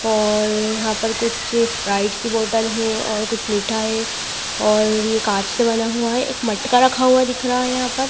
और यहाँ पर कुछ स्प्राइट की बोटल है और कुछ मीठा है और ये कांच से बना हुआ है एक मटका रखा हुआ दिख रहा है यहाँ पर।